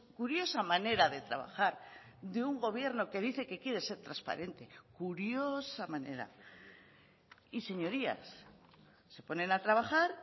curiosa manera de trabajar de un gobierno que dice que quiere ser transparente curiosa manera y señorías se ponen a trabajar